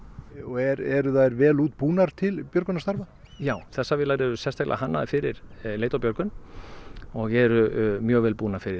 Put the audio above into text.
eru þær vel útbúnar til björgunarstarfa já þessar vélar eru sérstaklega hannaðar fyrir leit og björgun og eru mjög vel búnar fyrir